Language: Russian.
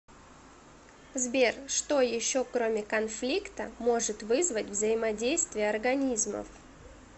сбер что еще кроме конфликта может вызвать взаимодействие организмов